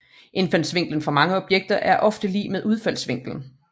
Indfaldsvinklen for mange objekter er ofte lig med udfaldsvinklen